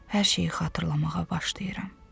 Hər şeyi xatırlamağa başlayıram.